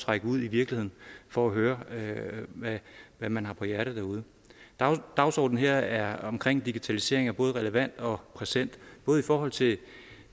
række ud i virkeligheden for at høre hvad man har på hjerte derude dagsordenen her omkring digitalisering er både relevant og præsent både i forhold til